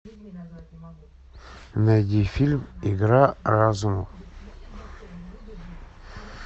найди фильм игра разума